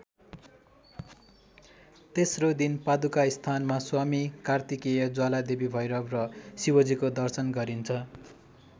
तेस्रो दिन पादुकास्थानमा स्वामी कार्तिकेय ज्वालादेवी भैरव र शिवजीको दर्शन गरिन्छ।